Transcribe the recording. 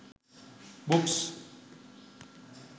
books